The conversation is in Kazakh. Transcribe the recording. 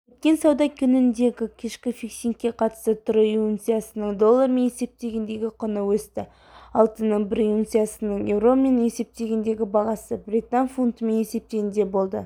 өткен сауда күніндегікешкі фиксингке қатысты трой унциясының доллармен есептегендегі құны өсті алтынның бір унциясының еуромен есептегендегі бағасы британ фунтымен есептегенде болды